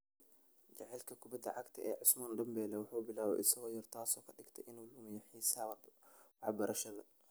Jaceylka kubadda cagta ee Ousmane Dembélé wuxuu bilaabay isagoo yar, taasoo ka dhigtay inuu lumiya xiisaha waxbarashada.